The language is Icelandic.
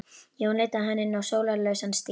Jón leiddi hana inn á sólarlausan stíg.